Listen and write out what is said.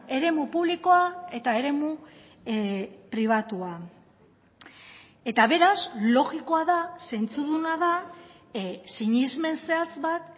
eremu publikoa eta eremu pribatua eta beraz logikoa da zentzuduna da sinesmen zehatz bat